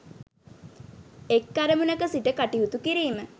එක් අරමුණක සිට කටයුතු කිරීම